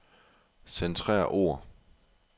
Centrer ord.